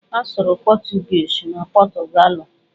A sụrụ pọchụguishi na Pọchụgalụ.